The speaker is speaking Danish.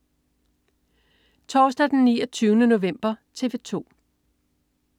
Torsdag den 29. november - TV 2: